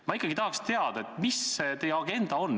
Ma ikkagi tahaks teada, mis see teie agenda on.